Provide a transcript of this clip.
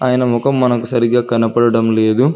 అయన ముఖం మనకు సరిగ్గా కనపడడం లేదు.